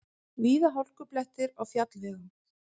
Víða hálkublettir á fjallvegum